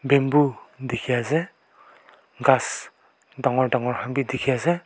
bamboo dekhi ase gass dagur dagur bhi dekhi ase.